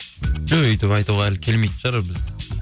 жоқ өйтіп айтуға әлі келмейтін шығар біз